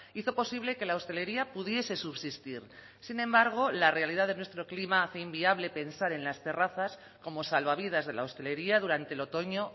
hizo posible que la hostelería pudiese subsistir sin embargo la realidad de nuestro clima hace inviable pensar en las terrazas como salvavidas de la hostelería durante el otoño